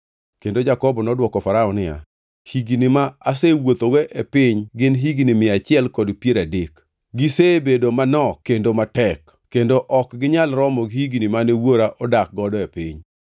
Kendo Jakobo nodwoko Farao niya, “Higni ma asewuothogo e piny gin higni mia achiel kod piero adek. Gisebedo manok kendo matek kendo ok ginyal romo gi higni mane wuora odak godo e piny.”